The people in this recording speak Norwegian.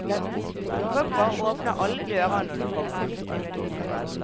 Folk bare åpner alle dører når du kommer.